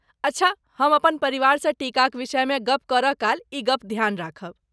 अच्छा, हम अपन परिवारसँ टीकाक विषयमे गप्प करय काल ई गप ध्यान राखब।